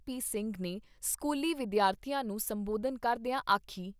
ਸਿੰਘ ਨੇ ਸਕੂਲੀ ਵਿਦਿਆਰਥੀਆਂ ਨੂੰ ਸੰਬੋਧਨ ਕਰਦਿਆਂ ਆਖੀ।